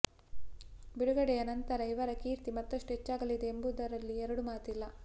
ಬಿಡುಗಡೆಯ ನಂತರ ಇವರ ಕೀರ್ತಿ ಮತ್ತಷ್ಟು ಹೆಚ್ಚಾಗಲಿದೆ ಎಂಬುದರಲ್ಲಿ ಎರಡು ಮಾತಿಲ್ಲ